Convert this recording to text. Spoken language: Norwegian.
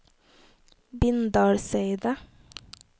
Bindalseidet